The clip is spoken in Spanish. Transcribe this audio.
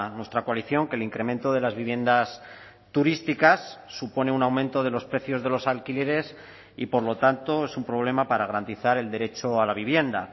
nuestra coalición que el incremento de las viviendas turísticas supone un aumento de los precios de los alquileres y por lo tanto es un problema para garantizar el derecho a la vivienda